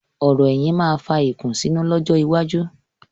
Ọ̀rò ẹ̀yìn máa fà ìkùnsínú lọ́jọ́ iwájú.